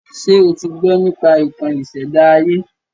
Ṣé o ti gbọ́ nípa ìtàn ìṣèdá ayé?